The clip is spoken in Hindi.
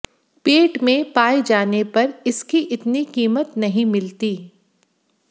पेट में पाए जाने पर इसकी इतनी कीमत नहीं मिलती